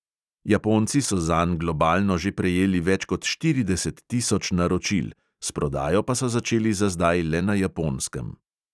Japonci so zanj globalno že prejeli več kot štirideset tisoč naročil, s prodajo pa so začeli za zdaj le na japonskem.